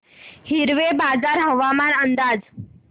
हिवरेबाजार हवामान अंदाज